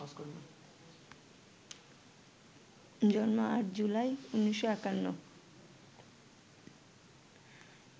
জন্ম ৮ জুলাই, ১৯৫১